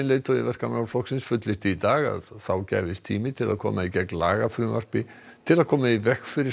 leiðtogi Verkamannaflokksins fullyrti í dag að þá gæfist tími til að koma í gegn lagafrumvarpi til að koma í veg fyrir